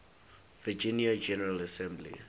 virginia general assembly